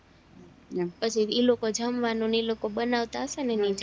પછી ઈ લોકો જમવાનું ને ઈ લોકો બનાવતા હયશે ને એની જાતે